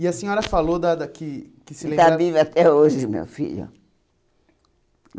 E a senhora falou da da... Que que se lembra... Ele está vivo até hoje, meu filho.